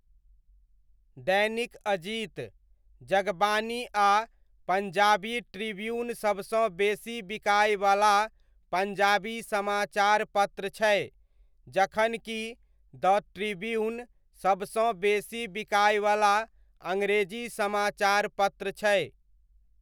दैनिक अजीत, जगबानी आ पञ्जाबी ट्रिब्यून सबसँ बेसी बिकाइवला पञ्जाबी समाचार पत्र छै जखन कि द ट्रिब्यून सबसँ बेसी बिकाइवला अङ्ग्रेजी समाचार पत्र छै।